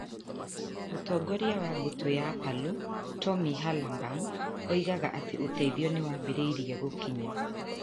Mũtongoria wa mbũtũ ya Palu, Tommy Herlambang oigaga atĩ ũteithio nĩ wambĩrĩirie gũkinya.